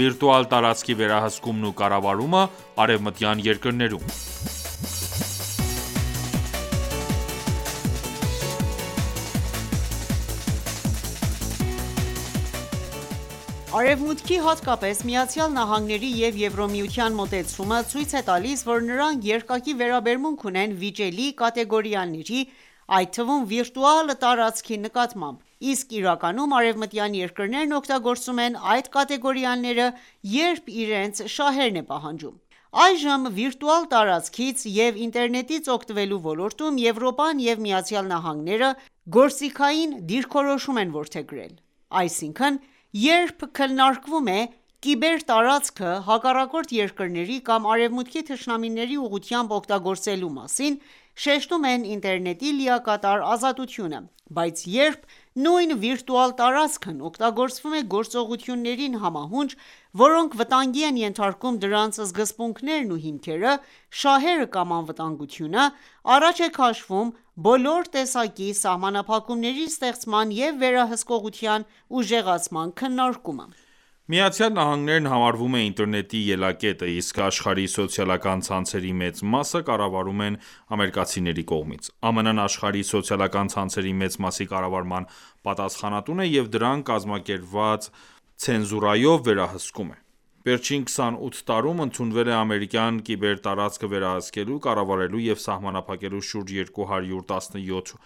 Վիրտուալ տարածքի վերահսկումն ու կառավարումը արևմտյան երկրներում Արևմուտքի, հատկապես ԱՄՆ-ի և ԵՄ-ի մոտեցումը ցույց է տալիս, որ նրանք երկակի վերաբերմունք ունեն վիճելի կատեգորիաների, այդ թվում՝ վիրտուալ տարածքի նկատմամբ, իսկ իրականում արևմտյան երկրներն օգտագործում են այդ կատեգորիաները, երբ իրենց շահերն է պահանջում։ Այժմ վիրտուալ տարածքից և ինտերնետից օգտվելու ոլորտում Եվրոպան և ԱՄՆ-ն գործիքային դիրքորոշում են որդեգրել։ Այսինքն, երբ քննարկվում է կիբերտարածքը հակառակորդ երկրների կամ Արևմուտքի թշնամիների ուղղությամբ օգտագործելու մասին, շեշտում են ինտերնետի լիակատար ազատությունը։ Բայց երբ նույն վիրտուալ տարածքն օգտագործվում է գործողություններին համահունչ, որոնք վտանգի են ենթարկում դրանց սկզբունքներն ու հիմքերը, շահերը կամ անվտանգությունը, առաջ է քաշվում բոլոր տեսակի սահմանափակումների ստեղծման և վերահսկողության ուժեղացման քննարկումը։ ԱՄՆ-ն համարվում է ինտերնետի ելակետը իսկ աշխարհի սոցիալական ցանցերի մեծ մասը կառավարվում են ամերիկացիների կողմից։ ԱՄՆ-ն աշխարհի սոցիալական ցանցերի մեծ մասի կառավարման պատասխանատուն է և դրանք կազմակերպված ցենզուրայով վերահսկում է: Վերջին 28 տարում ընդունվել է ամերիկյան կիբերտարածքը վերահսկելու, կառավարելու և սահմանափակելու շուրջ 217